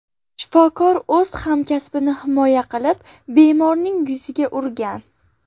Shifokor esa o‘z hamkasbini himoya qilib, bemorning yuziga urgan.